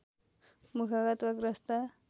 मुखगत वा ग्रस्त